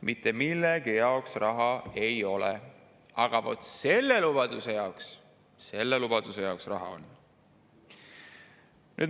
Mitte millegi jaoks raha ei ole, aga vaat selle lubaduse jaoks, selle jaoks raha on.